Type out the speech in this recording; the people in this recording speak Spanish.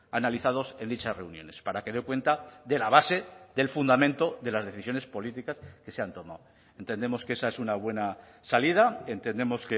analizados en dichas reuniones para que dé cuenta de la base del fundamento de las decisiones políticas que se han tomado entendemos que esa es una buena salida entendemos